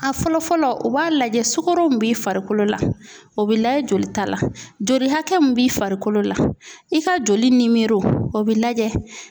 A fɔlɔ fɔlɔ u b'a lajɛ sukaro mun b'i farikolo la o bɛ lajɛ joli ta la joli hakɛ min b'i farikolo la i ka joli o bɛ lajɛ.